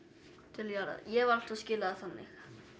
til jarðar ég hef alltaf skilið það þannig